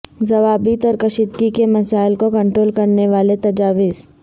ضوابط اور کشیدگی کے مسائل کو کنٹرول کرنے والے تجاویز